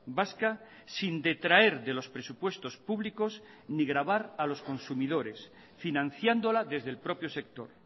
vasca sin detraer de los presupuestos públicos ni gravar a los consumidores financiándola desde el propio sector